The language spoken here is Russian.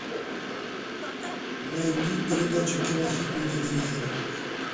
найди передачу кинохит на телевизоре